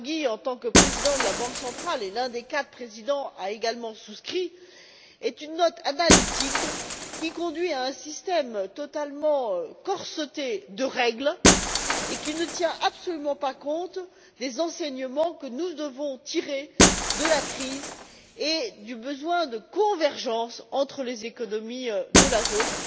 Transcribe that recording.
Draghi, en tant que président de la Banque centrale, et l'un des quatre présidents, a également souscrit, est une note analytique qui conduit à un système totalement corseté de règles, qui ne tient absolument pas compte des enseignements que nous devons tirer de la crise et du besoin de convergence entre les économies de la zone.